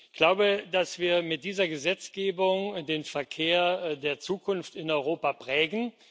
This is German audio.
Ich glaube, dass wir mit dieser Gesetzgebung den Verkehr der Zukunft in Europa prägen.